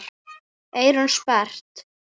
Eyrun sperrt.